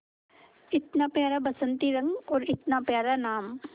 इतना प्यारा बसंती रंग और इतना प्यारा नाम